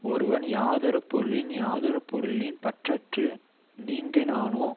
ஒருவன் யாதொரு பொருளின் யாதொரு பொருளின் பற்றற்று நீங்கினானோ